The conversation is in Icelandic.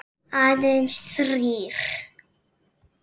Aðeins þrír.